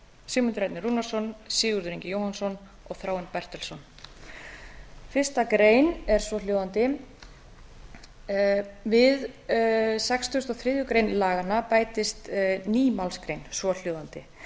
sigmundur ernir rúnarsson sigurður ingi jóhannsson og þráinn bertelsson fyrstu grein er svohljóðandi við sextugustu og þriðju grein laganna bætist ný málsgrein svohljóðandi